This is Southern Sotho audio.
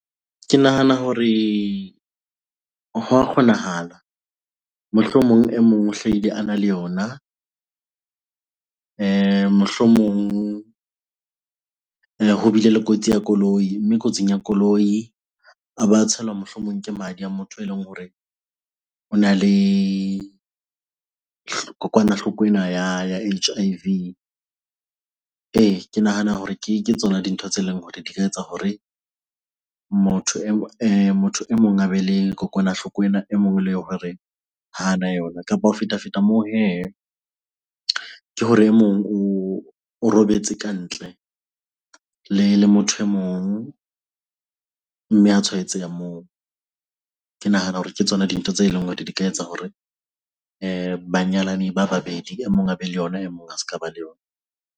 Ke nahana hore ho a kgonahala. Mohlomong e mong o hlaile ana le yona mohlomong ho bile le kotsi ya koloi, mme kotsing ya koloi a ba tshelwa mohlomong ke madi a motho eleng hore ona le kokwanahloko ena ya H_I_V. Ee, ke nahana hore ke tsona dintho tse leng hore di ka etsa hore motho motho e mong a be le kokwanahloko ena e mong ele hore hana yona. Kapa ho fetafeta moo hee, ke hore e mong o robetse ka ntle le motho e mong mme a tshwaetseha moo. Ke nahana hore ke tsona dintho tse leng hore di ka etsa hore banyalani ba babedi e mong a be le yona e mong a ska ba le yona.